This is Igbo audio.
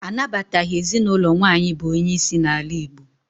Anabataghị ezinụlọ nwaanyị bụ onye isi n'ala Igbo.